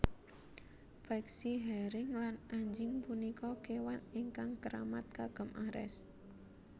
Peksi hering lan anjing punika kewan ingkang keramat kagem Ares